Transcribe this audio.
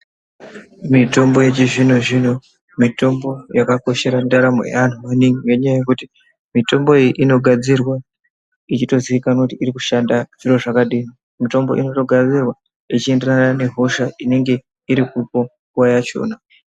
Mitombo yechizvino zvino mitombo yakakoshera ndaramo yaantu maningi ngenyaya yekuti mitombo iyi inogadzirwa ichitozikanwa kuti iri kushanda zviro zvakadinimutombo inotogadzirwa ichienderana nehosha inenge iri kupa nguwa yachona.